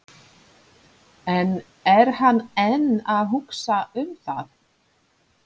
En er hann enn að hugsa um það?